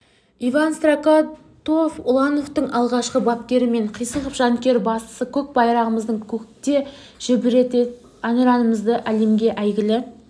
иван строкатов улановтың алғашқы бапкері мекен қисықов жанкүйер бастысы көк байрағымызды көкте желбіретіп әнұранымызды әлемге әйгілі